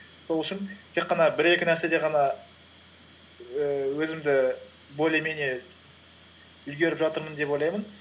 сол үшін тек қана бір екі нәрседе ғана ііі өзімді более менее үлгеріп жатырмын деп ойлаймын